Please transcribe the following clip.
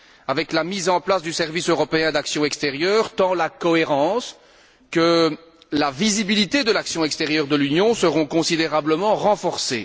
Avec la mise en place du service européen d'action extérieure, tant la cohérence que la visibilité de l'action extérieure de l'Union seront considérablement renforcées.